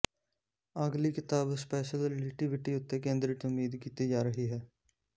ਅਗਲੀ ਕਿਤਾਬ special relativity ਉੱਤੇ ਕੇਂਦ੍ਰਿਤ ਉਮੀਦ ਕੀਤੀ ਜਾ ਰਹੀ ਹੈ